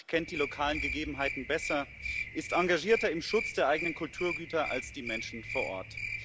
Niemand kennt die lokalen Gegebenheiten besser, ist engagierter im Schutz der eigenen Kulturgüter als die Menschen vor Ort.